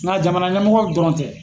Nga jamana ɲɛmɔgɔ dɔrɔn tɛ.